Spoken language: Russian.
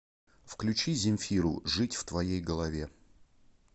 включи земфиру жить в твоей голове